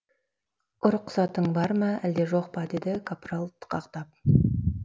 ұрықсатың бар ма әлде жоқ па деді капрал тықақтап